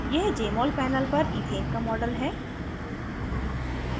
यह jmol panel पर ethane का model है